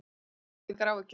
En hafðu engar áhyggjur.